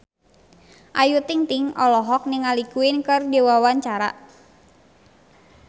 Ayu Ting-ting olohok ningali Queen keur diwawancara